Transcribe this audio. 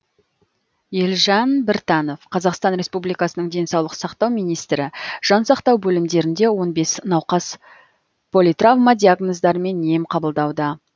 елжан біртанов қазақстан республикасының денсаулық сақтау министрі жан сақтау бөлімдерінде он бес науқас политравма диагноздарымен ем қабылдауда